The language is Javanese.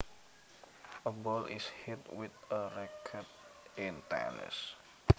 A ball is hit with a racquet in tennis